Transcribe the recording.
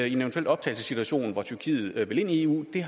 i en eventuel optagelsessituation hvor tyrkiet vil ind i eu vil